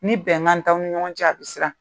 Ni bɛnkan t'aw ni ɲɔgɔn cɛ, a bi sirana.